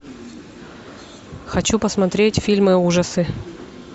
хочу посмотреть фильмы ужасы